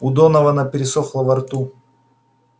у донована пересохло во рту